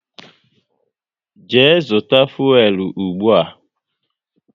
Jee zụta fuelu ụgbụa!